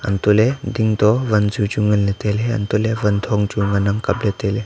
hantoh ley ding to wan zu chu ngan ley tailey hantoh ley wan thong chu ngan ang kap ley tailey.